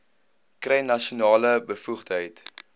kry nasionale bevoegdheid